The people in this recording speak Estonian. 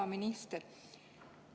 Hea minister!